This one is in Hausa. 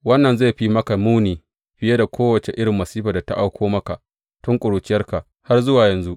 Wannan zai fi maka muni fiye da kowace irin masifar da ta auko maka tun ƙuruciyarka har zuwa yanzu.